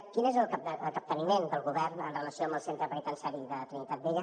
quin és el capteniment del govern en relació amb el centre penitenciari de trinitat vella